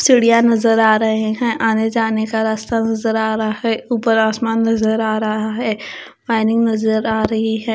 चिड़िया नजर आ रहे हैं आने जाने का रास्ता नजर आ रहा है ऊपर आसमान नजर आ रहा है वायरिंग नजर आ रही है।